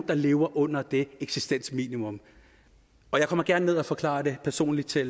der lever under det eksistensminimum og jeg kommer gerne ned og forklarer det personligt til